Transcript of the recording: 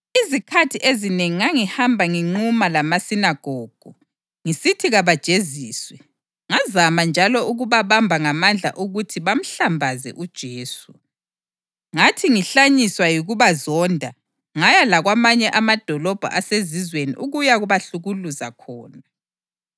Izikhathi ezinengi ngangihamba nginquma lamasinagogu ngisithi kabajeziswe, ngazama njalo ukubabamba ngamandla ukuthi bahlambaze uJesu. Ngathi ngihlanyiswa yikubazonda ngaya lakwamanye amadolobho asezizweni ukuyabahlukuluza khona.